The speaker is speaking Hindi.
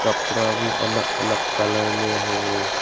कपड़ा भी अलग अलग कलर में है।